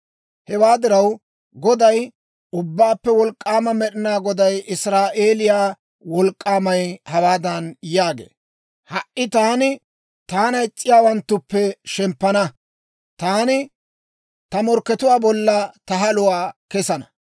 Hewaa diraw, Goday, Ubbaappe Wolk'k'aama Med'inaa Goday, Israa'eeliyaa Wolk'k'aamay, hawaadan yaagee; «Ha"i taani taana is'iyaawanttuppe shemppana; taani ta morkkatuwaa bolla ta haluwaa kessana.